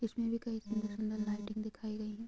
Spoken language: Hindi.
इसमें भी कही लाइटिंग दिखाई गई हैं।